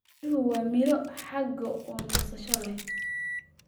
Qaraha waa miro xagaa oo nasasho leh.